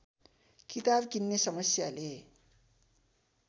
किताब किन्ने समस्याले